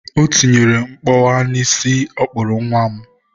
O tinyere mkpọwa n'isi ọ kpụrụ nwa m.